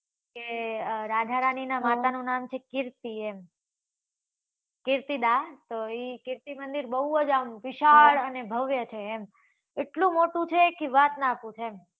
કે રાધા રાણી નાં માતા નું નામ છે. કીર્તિ એમ કીર્તિદા તો એ કીર્તિ મંદિર આમ બઉ વિશાળ અને ભવ્ય છે. એમ એટલું મોટું કે વાત નાં પૂછ એમ